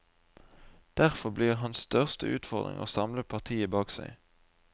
Derfor blir hans største utfordring å samle partiet bak seg.